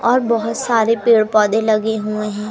और बहुत सारे पेड़ पौधे लगे हुए हैं।